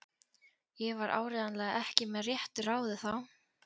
Ég var áreiðanlega ekki með réttu ráði þá.